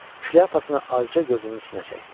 Şlyapasını azca gözünün üstünə çəkdi.